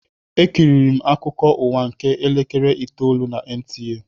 Ekiriri m akụkọ ụwa nke elekere itoolu na NTA.